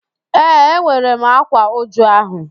Ee, enwere m ákwá újú ahụ